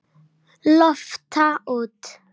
Lofta út.